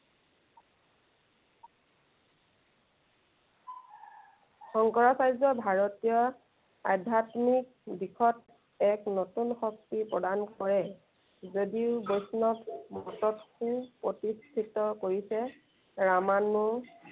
শংকৰাচাৰ্য ভাৰতীয় আধ্য়াত্মিক দিশত এক নতুন শক্তি প্ৰদান কৰে। যদিও বৈষ্ণৱ শক্তি প্ৰতিষ্ঠিত কৰিছে, ৰামানু